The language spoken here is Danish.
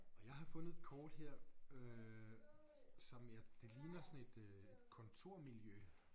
Og jeg har fundet et kort her øh som jeg det ligner sådan et øh et kontormiljø